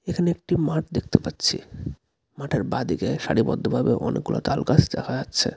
এখানে একটি মাঠ দেখতে পাচ্ছি মাঠের বাঁদিকে সারিবদ্ধভাবে কতগুলো তালগাছ দেখা যাচ্ছে.